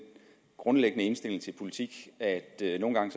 grundlæggende indstilling til politik at det nogle gange